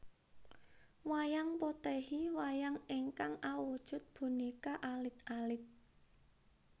Wayang Potèhi Wayang ingkang awujud bonéka alit alit